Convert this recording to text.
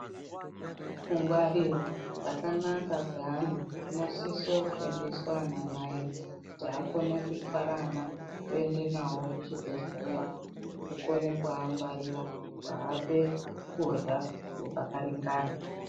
Kungwarirwa kwakanaka kweana kunosisa kufundiswa anamai kuti akone kutwara ana kuende nawo kuchibhedhlera nekukona kuangwarira kuape kurya kwakaringana.